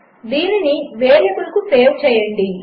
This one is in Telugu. దీనినివేరియబుల్కుసేవ్చేయండి